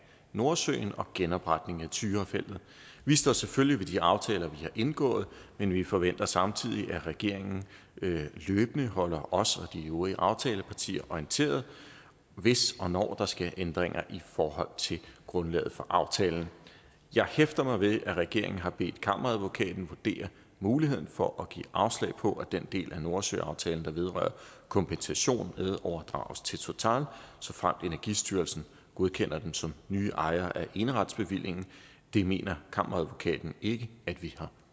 nordsøen og genopretning af tyrafeltet vi står selvfølgelig ved de aftaler vi har indgået men vi forventer samtidig at regeringen løbende holder os og de øvrige aftalepartier orienteret hvis og når der sker ændringer i forhold til grundlaget for aftalen jeg hæfter mig ved at regeringen har bedt kammeradvokaten vurdere muligheden for at give afslag på at den del af nordsøaftalen der vedrører kompensation medoverdrages til total såfremt energistyrelsen godkender dem som nye ejere af eneretsbevillingen det mener kammeradvokaten ikke ikke vi har